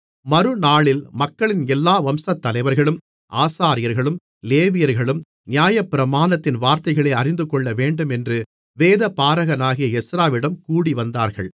மறுநாளில் மக்களின் எல்லா வம்சத்தலைவர்களும் ஆசாரியர்களும் லேவியர்களும் நியாயப்பிரமாணத்தின் வார்த்தைகளை அறிந்துகொள்ளவேண்டும் என்று வேதபாரகனாகிய எஸ்றாவிடம் கூடிவந்தார்கள்